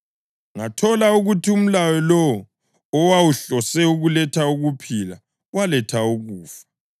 Ngathola ukuthi umlayo lowo owawuhlose ukuletha ukuphila waletha ukufa.